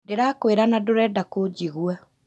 Ndĩrakwĩra na ndũrenda kũnjigua